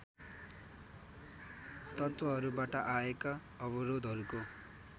तत्त्वहरूबाट आएका अवरोधहरूको